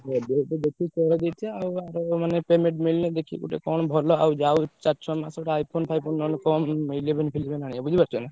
ଆଉ ଆର payment ମିଲିନେ ଦେଖିକି କଣ ଗୋଟେ ଭଲ ଆଉ ଯାଉ ଚାରି ଛ ମାସ ଗୋଟେ iPhone ଫାଈଫୋନ୍ ନହେଲେ କଣ eleven ଫିଲେବେନ୍ ଆଣିଆ ବୁଝି ପାରୁଛ ନା।